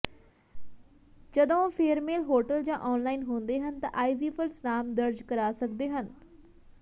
ਜਦੋਂ ਉਹ ਫੇਅਰਮੇਲ ਹੋਟਲ ਜਾਂ ਔਨਲਾਈਨ ਹੁੰਦੇ ਹਨ ਤਾਂ ਆਈਜੀਫ਼ਰਜ਼ ਨਾਮ ਦਰਜ ਕਰਾ ਸਕਦੇ ਹਨ